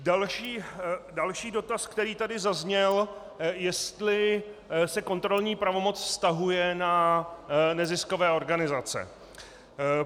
Další dotaz, který tady zazněl, jestli se kontrolní pravomoc vztahuje na neziskové organizace.